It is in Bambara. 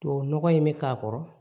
Tubabu nɔgɔ in bɛ k'a kɔrɔ